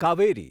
Kaveri